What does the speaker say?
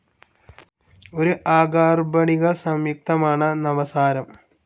ഒരു അകാർബണിക സംയുക്തമാണ് നവസാരം.